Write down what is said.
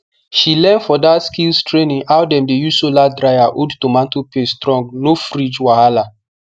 she learn for that skills training how dem dey use solar dryer hold tomato paste strong no fridge wahala